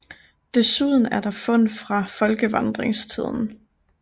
Desuden er der fund fra folkevandringstiden